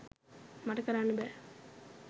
මට කරන්න බෑ.